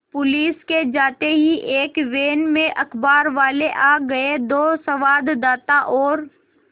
police के जाते ही एक वैन में अखबारवाले आ गए दो संवाददाता और